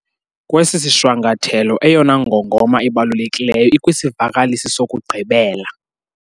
Kwesi sishwankathelo eyona ngongoma ibalulekileyo ikwisivakalisi sokugqibela.